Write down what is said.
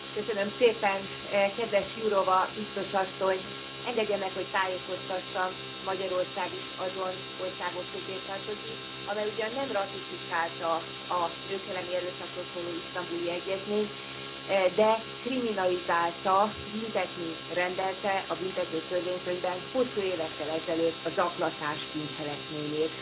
Elnök Asszony, kedves Jurová Biztos Asszony, engedje meg, hogy tájékoztassam, Magyarország is azon országok közé tartozik, amely ugyan nem ratifikálta a nők elleni erőszakról szóló isztambuli egyezményt, de kriminalizálta, büntetni rendelte a Büntető Törvénykönyvben hosszú évekkel ezelőtt a zaklatás bűncselekményét.